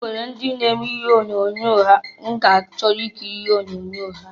Onwere ndị na-eme ihe onyoonyo m ga achọ ikiri onyoonyo ha.